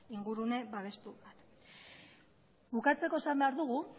ingurune babestu bat bukatzeko esan behar dugu